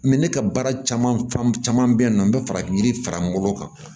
ne ka baara caman caman bɛ yen nɔ n bɛ farafin yiri fara n bolo kan